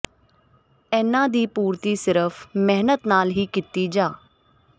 ਇਨ੍ਹਾਂ ਦੀ ਪੂਰਤੀ ਸਿਰਫ਼ ਮਿਹਨਤ ਨਾਲ ਹੀ ਕੀਤੀ ਜਾ